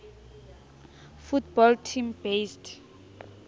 football team based